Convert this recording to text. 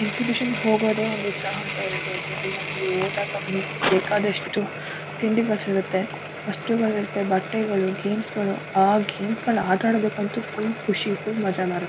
Exhibition ಹೋಗೋದೇ ಒಂದ್ ಹುಚ್ಚಾಟ ಇರ್ಬಹುದು ಅಲ್ ನಾವ್ ಹೋದಾಗ ಬೇಕಾದಷ್ಟು ತಿಂಡಿಗಳು ಸಿಗುತ್ತೆ ವಸ್ತುಗಳು ಇರುತ್ತೆ ಬಟ್ಟೆಗಳು ಗೇಮ್ಸ್ಗಳು ಆ ಗೇಮ್ಸ್ಗಳು ಆಟ ಆಡೋದಕ್ಕಂತೂ ಫುಲ್ ಖುಷಿ ಫುಲ್ ಮಜಾ ಬರುತ್ತೆ.